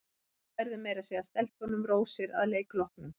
Við færðum meira að segja stelpunum rósir að leik loknum.